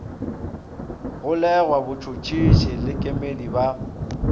golegwa botšhotšhisi le kemedi ba